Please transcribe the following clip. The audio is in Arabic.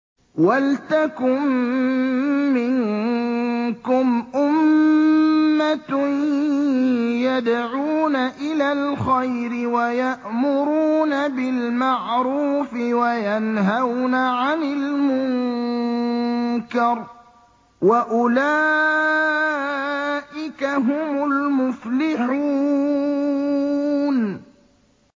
وَلْتَكُن مِّنكُمْ أُمَّةٌ يَدْعُونَ إِلَى الْخَيْرِ وَيَأْمُرُونَ بِالْمَعْرُوفِ وَيَنْهَوْنَ عَنِ الْمُنكَرِ ۚ وَأُولَٰئِكَ هُمُ الْمُفْلِحُونَ